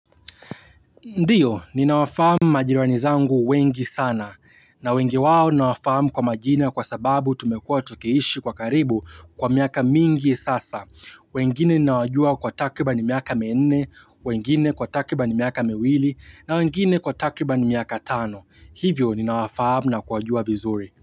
Ndiyo, ninawafahamu majirani zangu wengi sana. Na wengi wao ninawafahamu kwa majina kwa sababu tumekuwa tukiishi kwa karibu kwa miaka mingi sasa. Wengine ninawajua kwa takribani miaka minne, wengine kwa takriban miaka miwili, na wengine kwa takriban miaka tano. Hivyo ninawafahamu na kuwajua vizuri.